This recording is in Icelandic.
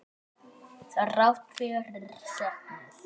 Þrátt fyrir söknuð.